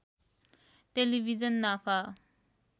television नाफा